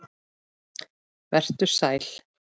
Vertu sæl.